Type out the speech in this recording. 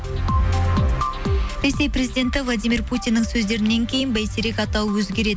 ресей президенті владимир путиннің сөздерінен кейін бәйтерек атауы өзгереді